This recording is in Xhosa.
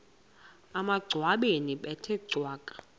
emangcwabeni bethe cwaka